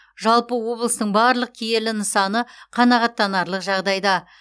жалпы облыстың барлық киелі нысаны қанағаттанарлық жағдайда